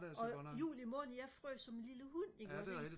og juli måned jeg frøs som en lille hund ikke også ikke